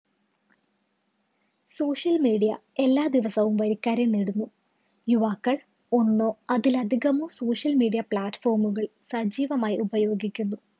social media എല്ലാ ദിവസവും വരിക്കാരെ നേടുന്നു. യുവാക്കള്‍ ഒന്നോ അതിലധികമോ social media platform കള്‍ സജീവമായി ഉപയോഗിക്കുന്നു.